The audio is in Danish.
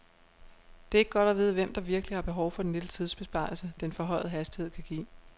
Det er ikke godt at vide, hvem der virkelig har behov for den lille tidsbesparelse, den forhøjede hastighed kan give.